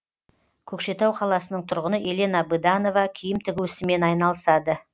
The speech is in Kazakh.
көкшетау қаласының тұрғыны елена быданова киім тігу ісімен айналысады